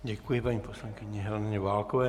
Děkuji paní poslankyni Heleně Válkové.